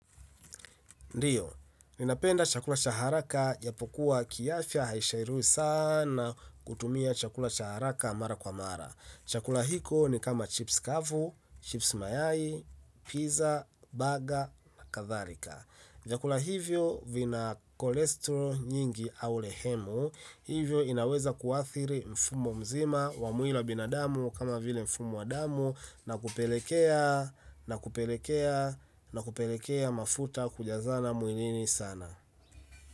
Ndiyo, ninapenda chakula cha haraka ijapokuwa kiafya hairuhusiwi sana kutumia chakula cha haraka mara kwa mara. Chakula hiko ni kama chips kavu, chips mayai, pizza, baga na kathalika. Vyakula hivyo vina kolesterol nyingi au lehemu hivyo inaweza kuathiri mfumo mzima wa mwili wa binadamu kama vile mfumo wa damu na kupelekea na kupelekea na kupelekea mafuta kujazana mwilini sana.